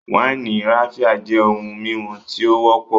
wáìnì Raphia jẹ ohun mímu tí ó wọ́pọ̀